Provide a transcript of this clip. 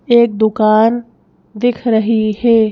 एक दुकान दिख रही है।